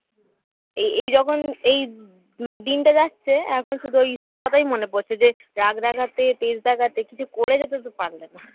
এই এই যখন এই মানে দিনটা যাচ্ছে এখন শুধু ওইসব কথাই মনে পড়ছে যে রাগ দেখাতে তেজ দেখাতে কিছু করে যেতে তো পারলে না